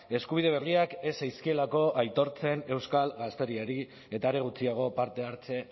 eskubide berriak ez zaizkielako aitortzen euskal gazteriari eta are gutxiago partehartze